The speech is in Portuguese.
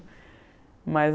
Mas